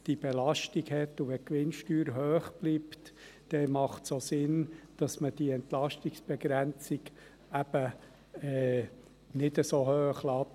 Wenn die Gewinnsteuer hoch bleibt, macht es auch Sinn, dass man die Entlastungsb egrenzung eben nicht so hoch lässt.